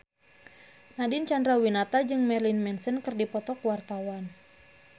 Nadine Chandrawinata jeung Marilyn Manson keur dipoto ku wartawan